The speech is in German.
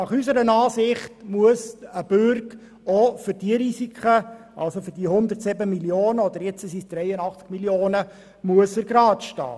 Unserer Ansicht nach muss ein Bürge auch für diese Risiken, hier konkret für die 107 Mio. beziehungsweise jetzt 83 Mio. Franken, geradestehen.